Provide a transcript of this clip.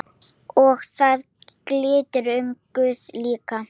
Og það gildir um guð líka.